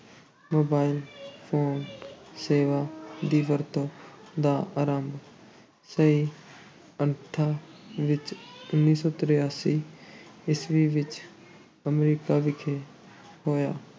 Mobile phone ਸੇਵਾ ਦੀ ਵਰਤੋਂ ਦਾ ਆਰੰਭ ਸਹੀ ਅਰਥਾਂ ਵਿੱਚ ਉੱਨੀ ਸੌ ਤਰਾਸੀ ਈਸਵੀ ਵਿੱਚ ਅਮਰੀਕਾ ਵਿਖੇ ਹੋਇਆ।